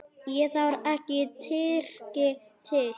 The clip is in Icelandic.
Það þarf ekki Tyrki til.